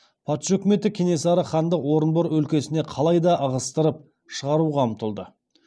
патша үкіметі кенесары ханды орынбор өлкесінен қалай да ығыстырып шығаруға ұмтылды